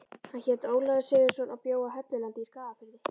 Hann hét Ólafur Sigurðsson og bjó á Hellulandi í Skagafirði.